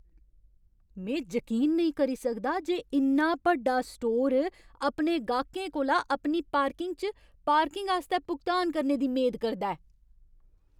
में जकीन नेईं करी सकदा जे इन्ना बड्डा स्टोर अपने गाह्कें कोला अपनी पार्किंग च पार्किंग आस्तै भुगतान करने दी मेद करदा ऐ!